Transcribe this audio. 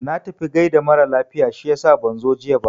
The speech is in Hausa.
Na tafi gaida mara lafiya shiyasa ban zo jiya ba.